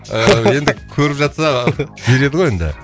ыыы енді көріп жатса ы береді ғой енді